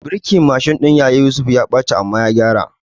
Birkin Mashin ɗin yaya Yusuf ya ɓaci amma ya kai gyara